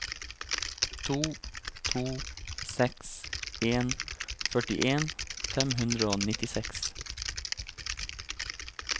to to seks en førtien fem hundre og nittiseks